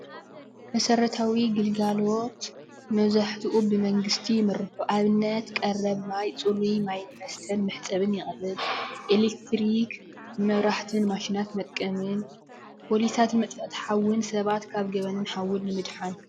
መሰረታዊ ግልጋሎት መብዛሕትኡ ብመንግስቲ ይምርሑ፡፡ ንኣብነት ቀረብ ማይ ፅሩይ ማይን መስተን መሕፀቢን ይቀርብ፡፡ ኤሌክትሪክ ንመብራህቲን ንማሽናት መጥቀምን፤ ፖሊሳት መጥፋእቲ ሓውን ሰባት ካብ ገበን ሓውን ንምድሓን፡፡